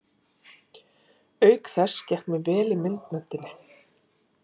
Auk þess gekk mér vel í myndmenntinni.